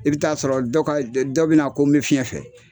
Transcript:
I bɛ taa sɔrɔ ka dɔ bɛ na ko n bɛ fiɲɛ fɛ.